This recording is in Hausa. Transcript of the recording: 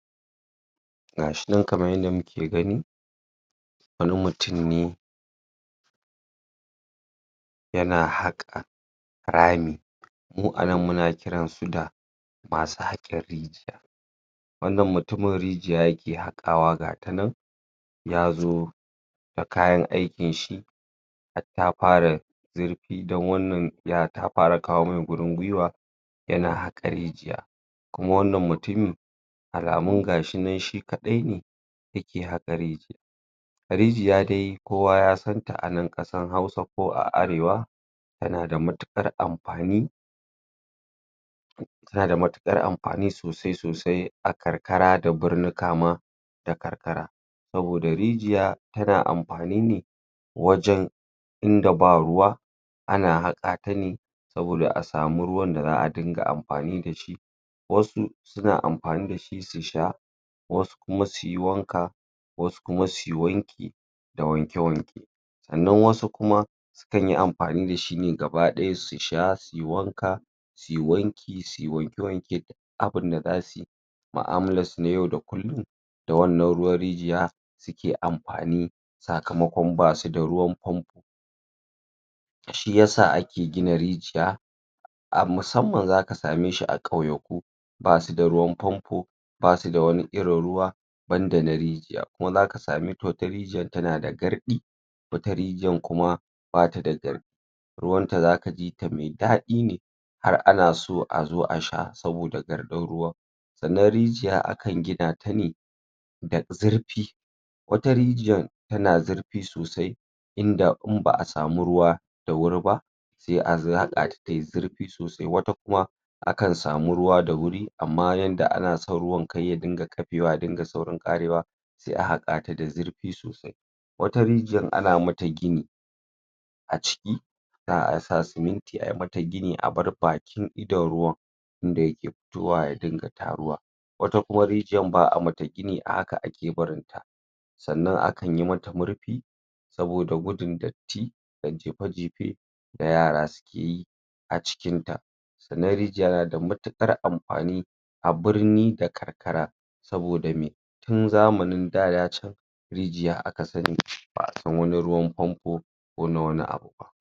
gashi nan kaman yanda muki gan wani mutun ne yana haƙa rami mu anan muna kiransu da masu haƙin rigiya wannan mutuimin rijiya yaki haƙawa gatanan yazo da kayan aikinshi hartafara zirfi dan wannan ya tafara kawomai gurin gwiwa yana haƙa rijiya kuma wannan mutumi alamun gahi shi kaɗaine yaki haƙa rijiyan rijiya dai kowa yasanta anan ƙasan hausa ko a arewa tanada mauƙar anfan tanada matuƙar anfani sosai sosai a karkara da birnika ma da karkara sanoda rijiya tana anfani ne wajan inda ba ruwa ana haƙatane saboda asamu ruwanda zaa dinga anfani dashi wasu suna anfani dashi su sha wasu kuma suyi wanka wasu kuma suyi wanki da wanke-wanke sannan wasu kuma sukanyi anfani dashi ne gabadaya susha suyi wanka suyi wanki suyi wanke-wanke duk abunda zasuyi maamalasu na yau da kullum da wannan ruwan rijiya ke anfani sakamakon basuda ruwan famfo shiyasa aki gina rijiya musamman zaka sameshi a ƙauyaku basuda ruwan famfo basuda wani irin ruwa banda na rijiya kuma zaka samaita wata rijiya tanada garɗi wata rijiyan kuma batada garɗi ruwanta zakajita mai daɗi ne har anaso azo asha saboda garƙin ruwan sannan rijiya akan ginata ne da zaifi wata rijiyan tana zarfi sosai inda in baa samu ruwa da woriba sai an hakata tayi zirfi sosai wata kuma akan samu ruwa dawori ama yanda anason ruwan karya ringa saurin ƙafiwa yaringa saurin ƙarewa sai a haƙata da zirfi sosai wata rijiyan ana mata gini aciki zaa sa siminti ayi mata gini abar bakin idan ruwan inda yake fitowa ya ringa taruwa wata kuma rijiyan baa mata gini a haka aki barin ta sannan akan yimata murfi saboda gudun datti da jefe-jefe da yara suki yi acikin ta sannan rijiya nada matuƙar anfani abirni da karkara saboda mai tun zamani daya can rijiya akasani baasan wani ruwan fanfo kona wani abuba